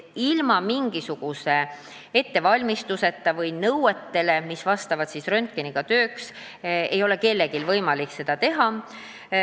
" Ilma ettevalmistuseta või ilma neid nõudeid täitmata, mida on vaja röntgeniaparaadiga töötamiseks, ei ole kellelgi võimalik seda teha.